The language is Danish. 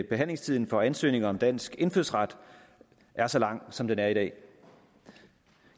behandlingstiden for ansøgninger om dansk indfødsret er så lang som den er i dag